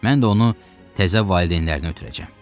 Mən də onu təzə valideynlərinə ötürəcəm.